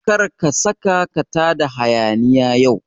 Kar ka saka ka tada hayaniya yau